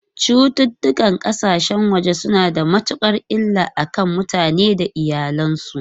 Cututtukan kasashen waje suna da matukar illa a kan mutane da iyalansu.